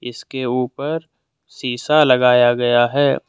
इसके ऊपर शीशा लगाया गया है।